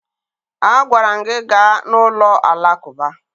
Agwara m gị gaa n'ụlọ Alakụba!